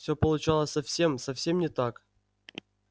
всё получалось совсем совсем не так